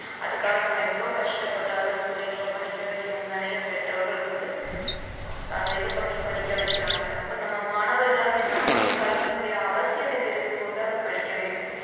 அதுக்காக நம்ம எவ்வளவு கஷ்டப்பட்டாலும் நம்ம பிள்ளைங்களை படிக்க வைக்கணும் நிறைய பெற்றோர்கள் வந்து அதை இது பண்ணி படிக்க வைக்கிறாங்க அப்போ நம்ம மாணவர்களாகிய நம்மளும் கல்வியினுடைய அவசியத்தை தெரிந்து கொண்டு அதை படிக்க வேண்டும்